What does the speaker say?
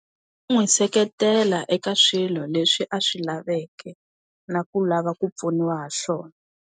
N'wi seketela eka swilo leswi a swi laveke, na ku lava ku pfuniwa hi swona.